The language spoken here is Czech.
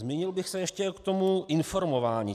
Zmínil bych se ještě o tom informování.